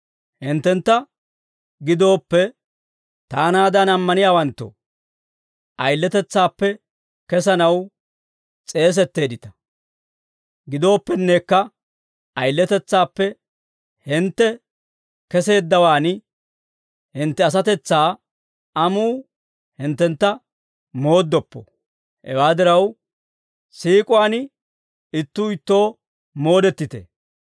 Hinttentta gidooppe, taanaadan ammaniyaawanttoo, ayiletetsaappe kesanaw s'eesetteeddita. Gidooppennekka ayiletetsaappe hintte keseeddawaan, hintte asatetsaa amuu hinttentta mooddoppo. Hewaa diraa siik'uwaan ittuu ittoo moodettite.